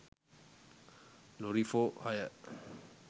lorry for hire